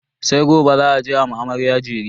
sai gobe za a je a ma amarya jere